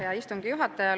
Hea istungi juhataja!